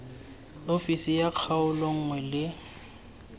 ofisi ya kgaolo nngwe le